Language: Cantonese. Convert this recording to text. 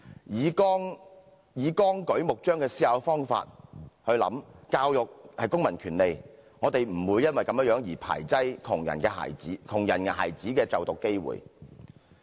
以綱舉目張的方法來思考，教育是公民權利，我們不會排斥窮人孩子的就讀機會。